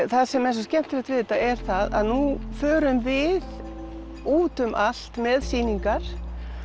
það sem er svo skemmtilegt við þetta er að nú förum við út um allt með sýningar